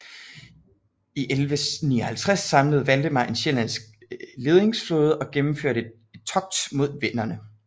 I 1159 samlede Valdemar en sjællandsk ledingsflåde og gennemførte et togt mod venderne